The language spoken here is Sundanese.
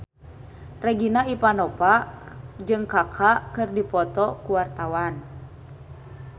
Regina Ivanova jeung Kaka keur dipoto ku wartawan